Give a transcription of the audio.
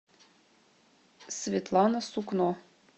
светлана сукно